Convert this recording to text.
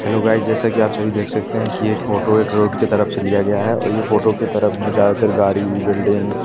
hello guys जैसा कि आप सभी देख सकते हैं कि ये एक फोटो है एक रोड के तरफ से लिया गया है और ये फोटो की तरफ ज्यादातर गाड़ी बिल्डिंगस --